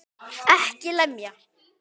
EKKI LEMJA!